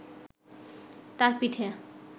তার পিঠে